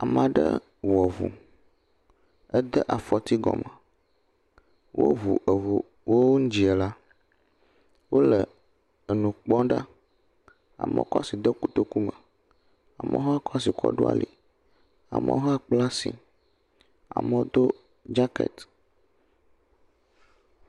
Ame aɖe wɔ ŋu, ede afɔti gɔme, woŋu ŋua wo ŋginia la, wole nu kpɔm ɖa. Amewo kɔ asi de kotoku me, amewo hã kɔ asi ɖo ali. Amewo hã kpla asi, amewo do dzakɛti.